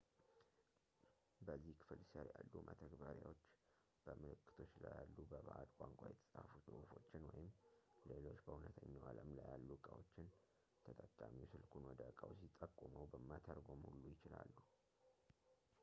በዚህ ክፍል ስር ያሉ መተግበሪያዎች በምልክቶች ላይ ያሉ በባዕድ ቋንቋ የተፃፉ ጽሁፎችን ወይም ሌሎች በእውነተኛው አለም ላይ ያሉ ዕቃዎችን ተጠቃሚው ስልኩን ወደ እቃው ሲጠቁመው መተርጎም ሁሉ ይችላሉ